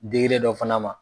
Digilen dɔ fana ma.